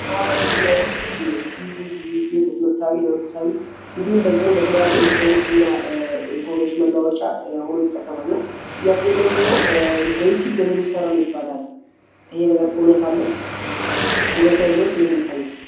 የመህበረ የሜዲያ አንዱ ዩትዩወብ ነው፡፡ ትዩብን ብዙ ጊዜ ለትምህርታዊ ለመንፈሳዊ እንዲሁም ደግሞ ለተለያዩ ኤሌክትሮኒክስ እና ኢንፎርሜሽn መሏወጫ ሆኖ ይጠቀማል ና ጥያቄ የምንድ እናው በትውብ ገንዘብ ይሠራል ይባላል ይሄ ነገር ነለው እውነት ከሌለውስጥ እንዴት የሚታየው፡፡